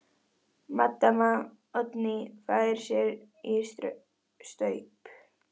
Maddama Oddný fær sér í staup.